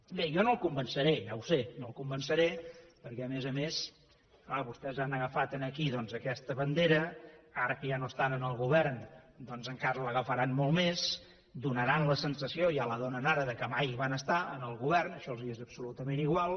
bé jo no el convenceré ja ho sé no el convenceré perquè a més a més clar vostès han agafat aquí doncs aquesta bandera ara que ja no estan en el govern encara l’agafaran molt més donaran la sensació ja la donen ara que mai hi van estar en el govern això els és absolutament igual